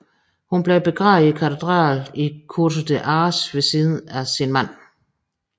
Hun blev begravet i katedralen i Curtea de Argeș ved siden af sin mand